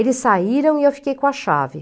Eles saíram e eu fiquei com a chave.